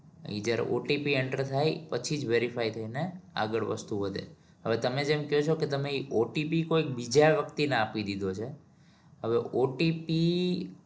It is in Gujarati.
જયારે OTPenter થાય પછી જ verify થઇ ને આગળ વસ્તુ વધે હવે તેમે જેમ કયો છો કે OTP કોઈ બીજા વ્યક્તિ ને આપી દીધો છે હવે OTP